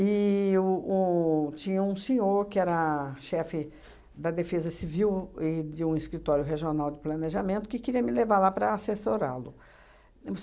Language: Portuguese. E o o tinha um senhor, que era chefe da Defesa Civil e de um escritório regional de planejamento, que queria me levar lá para assessorá-lo.